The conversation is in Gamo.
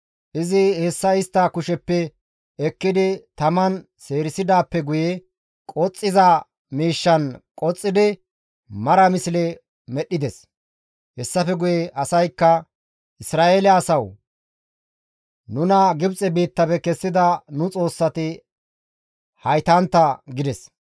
Izi hessa istta kusheppe ekkidi taman seerisidaappe guye qoxxiza miishshan qoxxidi mara misle medhdhides. Hessafe guye asaykka, «Isra7eele asawu! Nuna Gibxe biittafe kessida nu xoossati haytantta» gides